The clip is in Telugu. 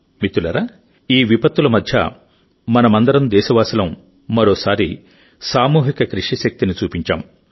మిత్రులారాఈ విపత్తుల మధ్య మనమందరం దేశవాసులం మరోసారి సామూహిక కృషి శక్తిని చూపించాం